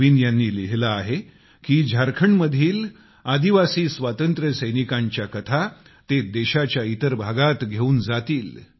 नवीन यांनी लिहिले आहे की झारखंडमधील आदिवासी स्वातंत्र्यसैनिकांच्या कथा ते देशाच्या इतर भागात घेऊन जातील